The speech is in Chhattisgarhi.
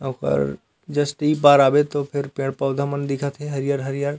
ओकर जस्ट इ पार आबे तो फिर पेड़-पौधा मन दिखत हे हरियर-हरियर--